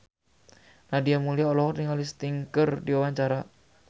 Nadia Mulya olohok ningali Sting keur diwawancara